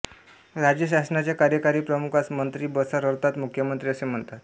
राज्यशासनाच्या कार्यकारी प्रमुखास मंत्री बसार अर्थात मुख्यमंत्री असे म्हणतात